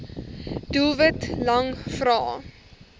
doelwit lang vrae